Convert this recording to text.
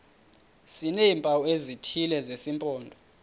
sineempawu ezithile zesimpondo